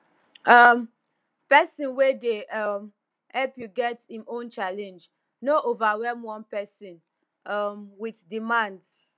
um person wey dey um help you get im own challenge no overwhelm one person um with demands